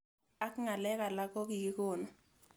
Ak ng'alek alak ko kikonu